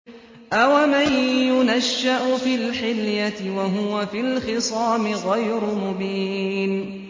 أَوَمَن يُنَشَّأُ فِي الْحِلْيَةِ وَهُوَ فِي الْخِصَامِ غَيْرُ مُبِينٍ